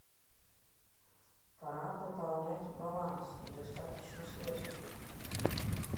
пора пополнять баланс недостаточно средств